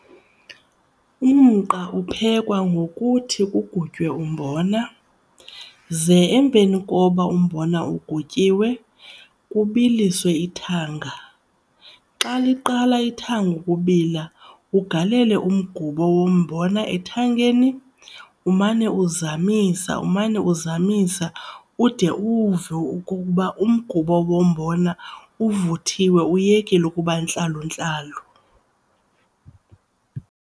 Umqa uphekwa ngokuthi kugutywe umbona. Ze emveni koba umbona ugutyiwe kubiliswe ithanga. Xa liqala ithanga ukubila ugalele umgubo wombona ethangeni umane uzamisa umane uzamisa ude uwuve ukuba umgubo wombona uvuthiwe uyekile ukuba ntlaluntlalu.